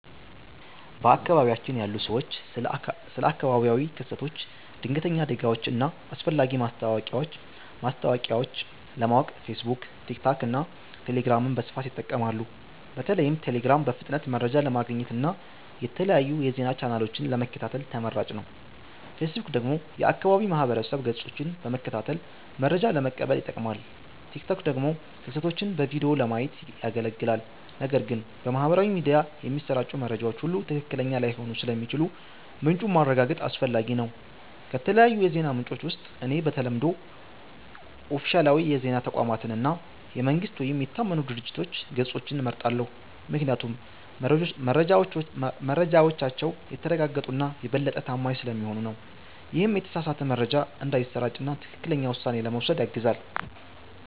በአካባቢያችን ያሉ ሰዎች ስለ አካባቢያዊ ክስተቶች፣ ድንገተኛ አደጋዎች እና አስፈላጊ ማስታወቂያዎች ለማወቅ ፌስቡክ፣ ቲክቶክ እና ቴሌግራምን በስፋት ይጠቀማሉ። በተለይም ቴሌግራም በፍጥነት መረጃ ለማግኘት እና የተለያዩ የዜና ቻናሎችን ለመከታተል ተመራጭ ነው። ፌስቡክ ደግሞ የአካባቢ ማህበረሰብ ገጾችን በመከታተል መረጃ ለመቀበል ይጠቅማል፣ ቲክቶክ ደግሞ ክስተቶችን በቪዲዮ ለማየት ያገለግላል። ነገር ግን በማህበራዊ ሚዲያ የሚሰራጩ መረጃዎች ሁሉ ትክክለኛ ላይሆኑ ስለሚችሉ ምንጩን ማረጋገጥ አስፈላጊ ነው። ከተለያዩ የዜና ምንጮች ውስጥ እኔ በተለምዶ ኦፊሴላዊ የዜና ተቋማትን እና የመንግስት ወይም የታመኑ ድርጅቶች ገጾችን እመርጣለሁ፤ ምክንያቱም መረጃዎቻቸው የተረጋገጡ እና የበለጠ ታማኝ ስለሚሆኑ ነው። ይህም የተሳሳተ መረጃ እንዳይሰራጭ እና ትክክለኛ ውሳኔ ለመውሰድ ያግዛል።